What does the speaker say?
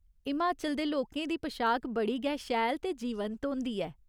हिमाचल दे लोकें दी पशाक बड़ी गै शैल ते जीवंत होंदी ऐ।